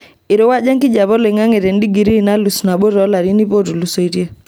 Eirowuaja enkijiepe oloing'ang'e tendigirii nalus nabo toolarin iip ootulusoitie.